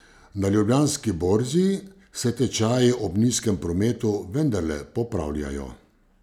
Na Ljubljanski borzi se tečaji ob nizkem prometu vendarle popravljajo.